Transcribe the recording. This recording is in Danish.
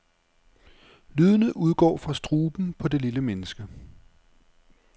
Lydene udgår fra struben på det lille menneske.